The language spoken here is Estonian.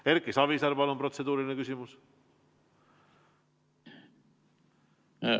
Erki Savisaar, palun, protseduuriline küsimus!